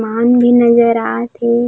मान भी नज़र आत हे।